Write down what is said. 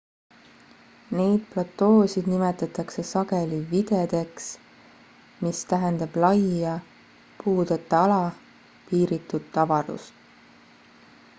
neid platoosid nimetatakse sageli viddedeks mis tähendab laia puudeta ala piiritut avarust